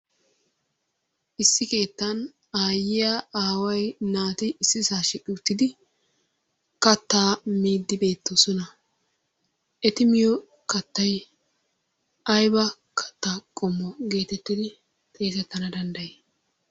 Issi keettan aayyiya, aaway, naati issisaa shiiqi uttidi kattaa miiddi beettoosona. Eti miyo kattay ayba kattaa qommo geetettidi xeesettana dandday?